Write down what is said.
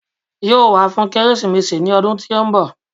Yóò wá fún Kérésìmesì ní ọdún tí ó ń bọ̀